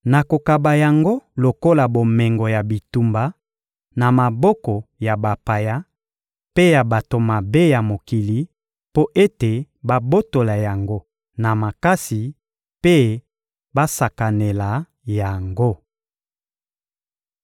Nakokaba yango lokola bomengo ya bitumba na maboko ya bapaya mpe ya bato mabe ya mokili mpo ete babotola yango na makasi mpe basakanela yango.